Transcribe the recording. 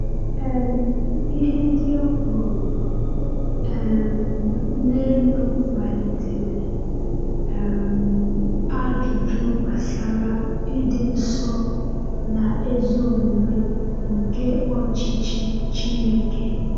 um Ihe ndị e kwuru um n’elu kpalitere um ajụjụ gbasara ịdị nsọ na ezi omume nke ọchịchị Chineke.